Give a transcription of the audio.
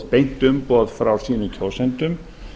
beint umboð frá sínum kjósendum